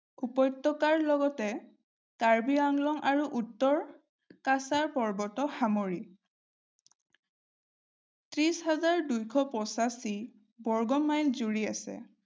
উপত্যকাৰ লগতে কাৰ্বি-আংলং আৰু উত্তৰ-কাছাৰ পৰ্বতক সামৰি। ত্ৰিশ হাজাৰ দুইশ পছাশি বৰ্গ মাইল জুৰি আছে।